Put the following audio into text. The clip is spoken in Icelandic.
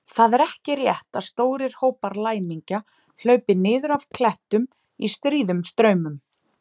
Það er ekki rétt að stórir hópar læmingja hlaupi niður af klettum í stríðum straumum.